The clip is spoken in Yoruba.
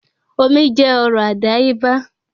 Omi jẹ́ ọrọ̀ àdáyébá